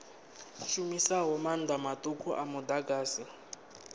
shumisaho maanḓa maṱuku a muḓagasi